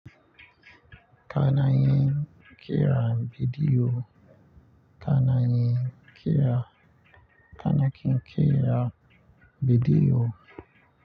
Ka na yin ƙera bidiyo. Ka na yin ƙera, ka na ƙin ƙera bidiyo.